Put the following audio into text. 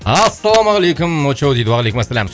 ассалаумағалейкум очоу дейді уағалейкумассалям